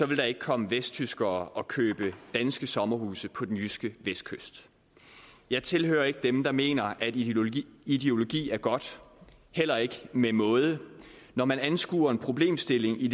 vil der ikke komme vesttyskere og købe danske sommerhuse på den jyske vestkyst jeg tilhører ikke dem der mener at ideologi ideologi er godt heller ikke med måde når man anskuer en problemstilling i